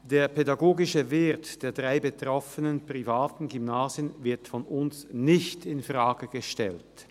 Der pädagogische Wert der drei privaten Gymnasien wird von uns nicht infrage gestellt.